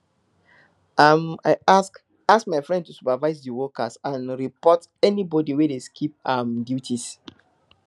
um i ask ask my friend to supervise di workers and report anybody wey dey skip um duties